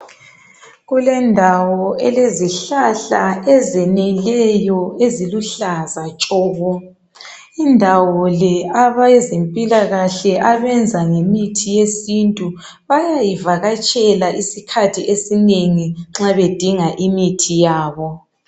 Kulendawo elezihlahla ezimileyo eziluhlaza tshoko, indawo le abezempilakahle abenza ngemithi yesintu bayayivakatshela isikhathi esinengi nxa bedinga imithi yabo.